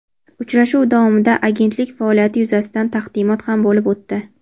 Uchrashuv davomida Agentlik faoliyati yuzasidan taqdimot ham bo‘lib o‘tdi.